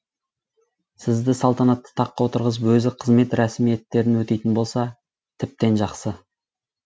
сізді салтанатты таққа отырғызып өзі қызмет рәсімиеттерін өтейтін болса тіптен жақсы